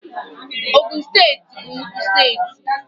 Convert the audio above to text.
Ogun steeti bụ nnukwu steeti